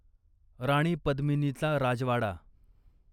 राणी पद्मिनीचा राजवाडा